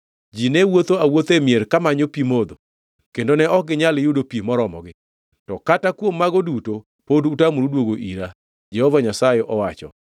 Ji ne wuotho awuotha e mier kamanyo pi modho, kendo ne ok ginyal yudo pi moromogi, to kata kuom mago duto pod utamoru duogo ira,” Jehova Nyasaye owacho.